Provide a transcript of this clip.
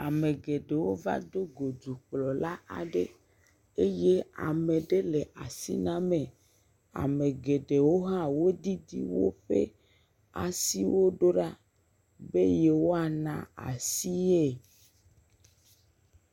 Ame geɖewo va do go dukplɔla aɖe eye ame ɖe le asi namee. Ame geɖewo hã woɖiɖi woƒe asiwo ɖo ɖa be yewoana asi yee.